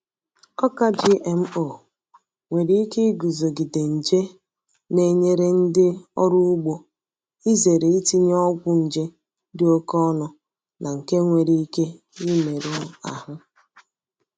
Ọka GMO nwere ike iguzogide nje na-enyere ndị ọrụ ugbo izere itinye ọgwụ nje dị oke ọnụ na nke nwere ike imerụ ahụ